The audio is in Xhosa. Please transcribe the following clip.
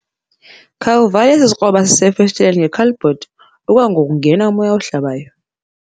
Khawuvale esi sikroba sisefestileni ngekhadibhodi okwangoku kungena umoya ohlabayo.